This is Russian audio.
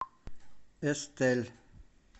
эстель